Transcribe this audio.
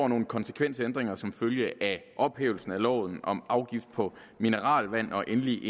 nogle konsekvensændringer som følge af ophævelsen af loven om afgift på mineralvand og endelig